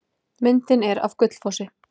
Myndin er af Gullfossi.